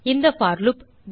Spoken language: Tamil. இந்த போர் லூப்